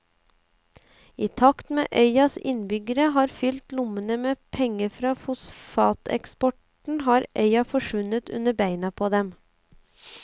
I takt med at øyas innbyggere har fylt lommene med penger fra fosfateksporten har øya forsvunnet under beina på dem.